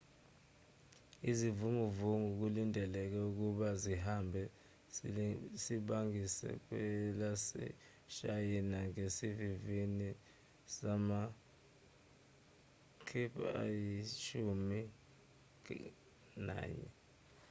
isivunguvungu kulindeleke ukuba sihambe silibangise kwelaseshayina ngesivinini sama-kph ayishumi nanye